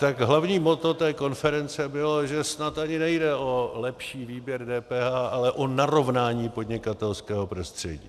Tak hlavní motto té konference bylo, že snad ani nejde o lepší výběr DPH, ale o narovnání podnikatelského prostředí.